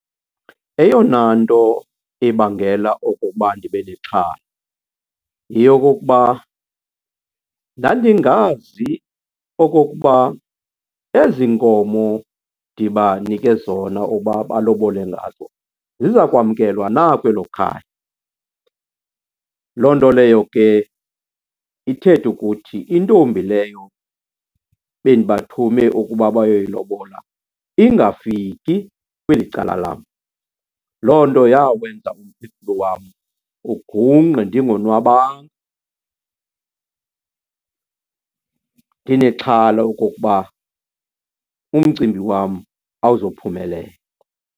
Eyona nto ibangela okokuba ndibe nexhala yeyokokuba ndandingazi okokuba ezi nkomo ndibanike zona uba balobole ngazo ziza kwamkelwa na kwelo khaya. Loo nto leyo ke ithethe ukuthi intombi leyo bendibathume ukuba bayoyilobola ingafiki kweli cala lam. Loo nto yawenza umphefumlo wam ugungqe ndingonwabanga, ndinexhala okokuba umcimbi wam awuzophumelela.